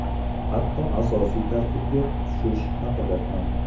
Hatto asosiy tarkibga tushish haqida ham.